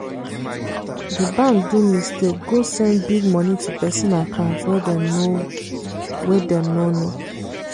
di bank do mistake go send big money to person account wey dem no wey dem no know.